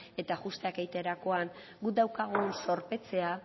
eta ajusteak egiterakoan guk daukagun zorpetzea